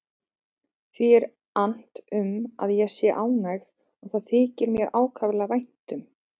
Því er annt um að ég sé ánægð og það þykir mér ákaflega vænt um.